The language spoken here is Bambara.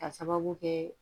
Ka sababu kɛ